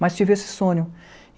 Mas tive esse sonho.